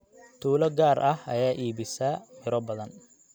Tuulo gaar ah ayaa iibisa midho badan.